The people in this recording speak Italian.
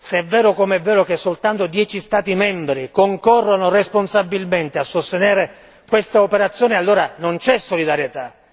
Se è vero come è vero che soltanto 10 Stati membri concorrono responsabilmente a sostenere quest'operazione, allora non c'è solidarietà!